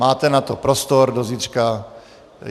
Máte na to prostor do zítřka.